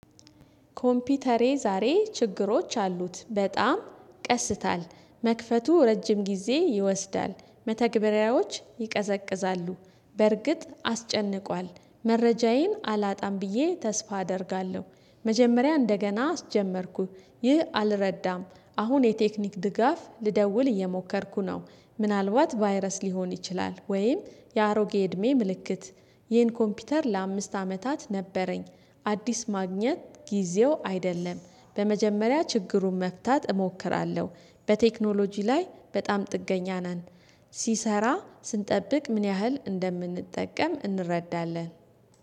ኮምፒውተሬ ዛሬ ችግሮች አሉት በጣም ይቀስታል መክፈቱ ረጅም ጊዜ ይወስዳል መተግበሪያዎች ይቀዘቅዛሉ በርግጥ አስጨንቋል መረጃዬን አላጣም ብዬ ተስፋ አደርጋለሁ። መጀመሪያ እንደገና አስጀመርኩኝ ይህ አልረዳም። አሁን የቴክኒክ ድጋፍ ልደውል እየሞከርኩ ነው። ምናልባት ቫይረስ ሊሆን ይችላል። ወይም የአሮጌ እድሜ ምልክት። ይህን ኮምፒውተር ለአምስት አመታት ነበረኝ። አዲስ ማግኘት ጊዜው አይደለም። በመጀመሪያ ችግሩን መፍታት እሞክራለሁ። በቴክኖሎጂ ላይ በጣም ጥገኛ ነን። ሲሰራ ስንጠብቅ ምን ያህል እንደምንጠቀም እንረዳለን